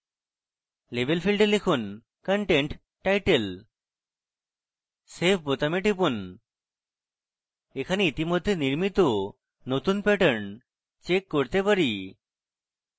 label ফীল্ডে লিখুন content title save বোতামে টিপুন এখানে ইতিমধ্যে নির্মিত নতুন pattern check করতে পারি